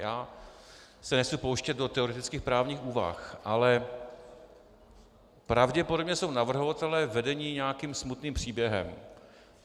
Já se nechci pouštět do teoretických právních úvah, ale pravděpodobně jsou navrhovatelé vedeni nějakým smutným příběhem.